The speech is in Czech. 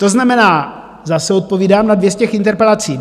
To znamená, zase odpovídám na dvě z těch interpelací.